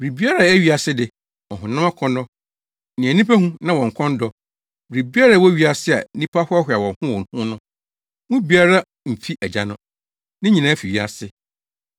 Biribiara a ɛyɛ wiase de; ɔhonam akɔnnɔ, nea nnipa hu na wɔn kɔn dɔ, biribiara a ɛwɔ wiase a nnipa hoahoa wɔn ho wɔ ho no, mu biara mfi Agya no. Ne nyinaa fi wiase.